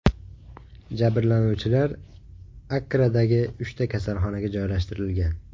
Jabrlanuvchilar Akkradagi uchta kasalxonaga joylashtirilgan.